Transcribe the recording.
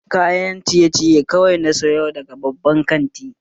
Kayan ciye ciye kawai na sayo daga babban kantin